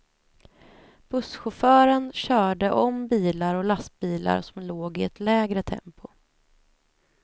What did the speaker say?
Busschauffören körde om bilar och lastbilar som låg i ett lägre tempo.